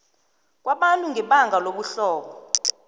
kwabantu ngebanga lobuhlobo